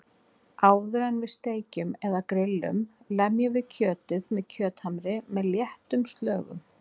Áður en við steikjum eða grill um lemjum við kjötið með kjöthamri með léttum slögum.